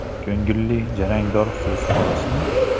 Ko‘ngilli jarangdor so‘z xolosmi?!.